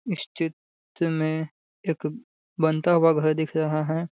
स्ती त में एक बनता हुआ घर दिख रहा है।